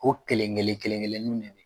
Ko kelen kelen kelen nun de be ye